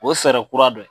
O ye fɛɛrɛ kura dɔ ye